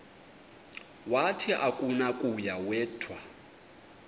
wathi akunakuya wedw